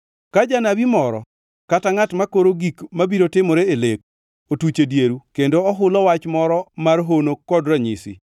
Ka janabi moro kata ngʼat mokoro gik mabiro timore e lek otuch e dieru kendo ohulo wach moro mar hono kod ranyisi,